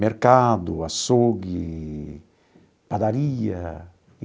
Mercado, açougue, padaria.